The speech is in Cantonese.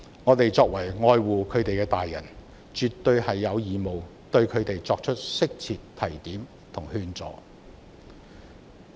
我們作為愛護年輕人的成年人，絕對有義務對他們作出適切的提點和勸阻。